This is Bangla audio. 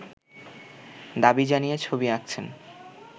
দাবি জানিয়ে ছবি আঁকছেন